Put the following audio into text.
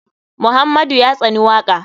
Muhammadu ya tsani waka.